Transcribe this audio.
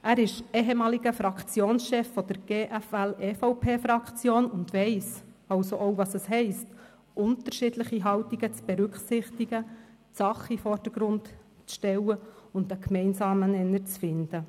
Er ist ehemaliger Fraktionschef der GFL-EVP-Fraktion und weiss also auch, was es heisst, unterschiedliche Haltungen zu berücksichtigen, die Sache in den Vordergrund zu stellen und einen gemeinsamen Nenner zu finden.